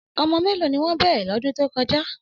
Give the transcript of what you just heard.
Ọmọ méèló ni wọ́n bẹ̀rẹ̀ lọ́dún tó kọjá?